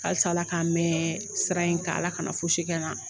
Halisa ala k'an mɛn sira in ka ala kana fosi kɛ n na